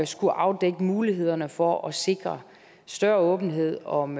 skulle afdække mulighederne for at sikre større åbenhed om